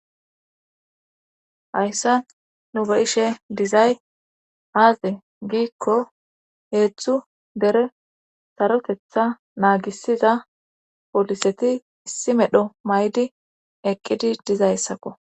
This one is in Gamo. Hayssa nu be7ishe dizay aaze giikko heetzthu bere sarotetha naagisiza poliseti issi medho maydi eqqidi dizayssakko